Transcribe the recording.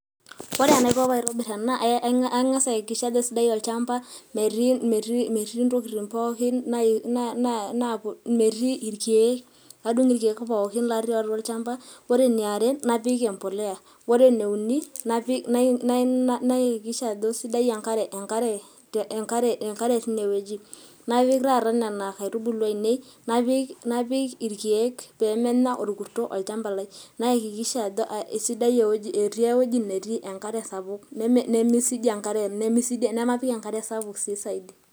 ore enaiko tenaitobir ena ang'as ayakikisha ajo keisidai olchampa, metii ntokitinpookin, metii irkeek, nadung' irkeek pookinlotii atua olchampa. ore eniare napik empuliya, ore eneiuni napik, nayakiksha ajo sidai enkare, teine wueji. napik taata nena aitubulu ainei irkeek.